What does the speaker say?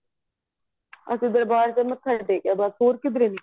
ਅਸੀਂ ਬੱਸ ਦਰਬਾਰ ਵਿੱਚ ਮੱਥਾ ਟੇਕਿਆ ਬੱਸ ਹੋਰ ਕਿਧਰੇ ਨਹੀਂ ਗਏ ਅਸੀਂ